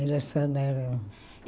Era só na rua.